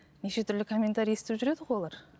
неше түрлі комментарий естіп жүреді ғой олар